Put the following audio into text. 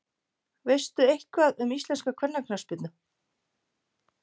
Veistu eitthvað um íslenska kvennaknattspyrnu?